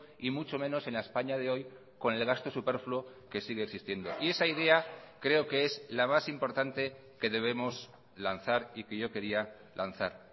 y mucho menos en la españa de hoy con el gasto superfluo que sigue existiendo y esa idea creo que es la más importante que debemos lanzar y que yo quería lanzar